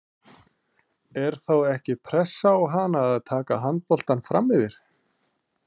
Er þá ekki pressa á hana að taka handboltann framyfir?